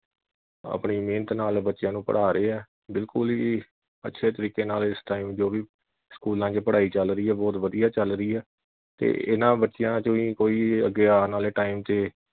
ਆਪਣੀ ਮਿਹਨਤ ਨਾਲ ਬੱਚਿਆਂ ਨੂੰ ਪੜਾ ਰਹੇ ਆ ਬਿਲਕੁਲ ਹੀ ਅੱਛੇ ਤਰੀਕੇ ਨਾਲ ਇਸ time ਜੋ ਵੀ ਸਕੂਲਾਂ ਵਿਚ ਪੜਾਈ ਚੱਲ ਰਹੀ ਆ ਬਹੁਤ ਵਧੀਆ ਚੱਲ ਰਹੀ ਆ। ਤੇ ਇਨ੍ਹਾਂ ਬੱਚਿਆਂ ਵਿਚੋਂ ਹੀ ਅੱਗੇ ਆਉਣ ਵਾਲੇ time ਤੇ